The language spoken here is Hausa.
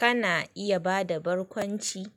Kana iya ba da barkwanci?